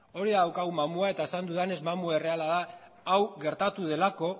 hori da daukagun mamua eta esan dudanez mamu erreala da hau gertatu delako